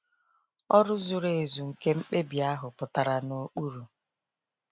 Ọrụ zuru ezu nke mkpebi ahụ pụtara n’okpuru.